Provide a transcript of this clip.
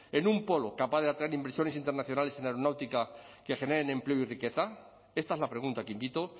en un polo capaz de atraer inversores internacionales en aeronáutica que generen empleo y riqueza esta es la pregunta que invito